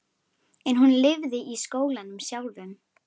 En hún lifði í skólanum sjálfum.